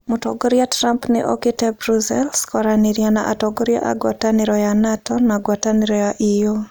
Mũtongoria Trump nĩ okĩte Brussels kwaranĩria na atongoria a ngwatanĩro ya NATO na ngwatanĩro ya EU.